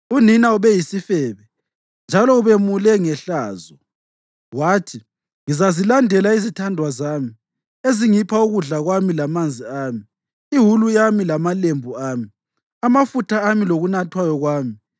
Unina ubeyisifebe, njalo ubemule ngehlazo. Wathi, ‘Ngizazilandela izithandwa zami, ezingipha ukudla kwami lamanzi ami, iwulu yami lamalembu ami, amafutha ami lokunathwayo kwami.’